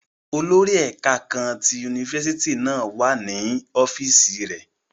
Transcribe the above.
Olori ẹka kaan ti unifásitì náa wa ni ọfiisi rẹ.